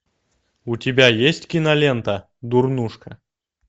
у тебя есть кинолента дурнушка